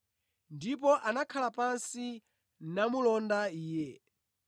Ndipo anakhala pansi namulonda Iye.